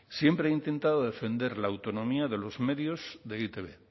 siempre he intentado defender la autonomía de los medios de e i te be